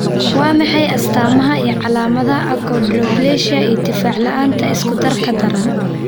Waa maxay astamaha iyo calaamadaha Achondroplasia iyo difaac la'aanta isku-darka daran?